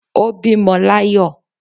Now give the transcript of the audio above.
o bímọ l'ayọ